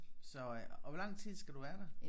Så øh og hvor lang tid skal du være der?